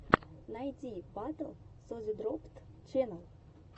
найди батл созидроппд ченнал